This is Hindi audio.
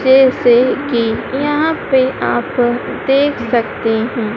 जैसे कि यहां पे आप देख सकते हैं।